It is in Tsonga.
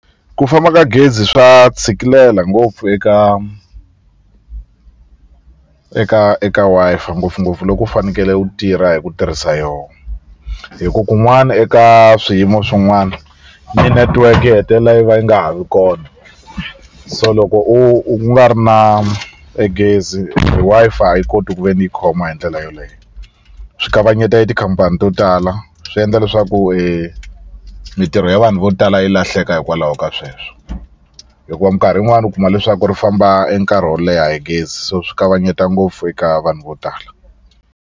Ku famba ka gezi swa tshikilela ngopfu eka eka eka Wi-Fi ngopfungopfu loko u fanekele u tirha hi ku tirhisa yo hi ku kun'wani eka swiyimo swin'wana mi-network yi hetelela yi va yi nga ha vi kona so loko u u nga ri na e gezi Wi-Fi a yi koti ku ve ni yi khoma hi ndlela yoleye swi kavanyeta i tikhampani to tala swi endla leswaku mitirho ya vanhu vo tala yi lahleka hikwalaho ka sweswo hikuva minkarhi yin'wani u kuma leswaku ri famba e nkarhi wo leha e gezi so swi kavanyeta ngopfu eka vanhu vo tala.